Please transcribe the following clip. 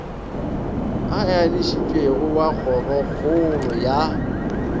a enišitšwego wa kgorokgolo ya